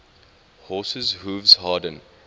horses hooves harden